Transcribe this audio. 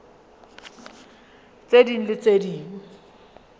tse ding le tse ding